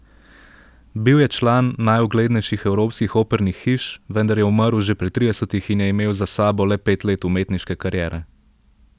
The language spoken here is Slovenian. Bil je član najuglednejših evropskih opernih hiš, vendar je umrl že pri tridesetih in je imel za sabo le pet let umetniške kariere.